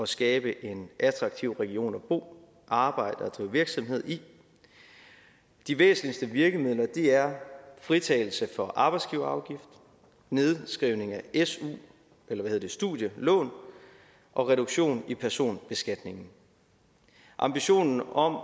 skabe en attraktiv region at bo arbejde og drive virksomhed i de væsentligste virkemidler er fritagelse for arbejdsgiverafgift nedskrivning af studielån og reduktion i personbeskatningen ambitionen om